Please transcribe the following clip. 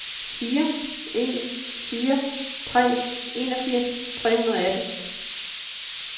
fire en fire tre enogfirs tre hundrede og atten